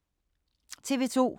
TV 2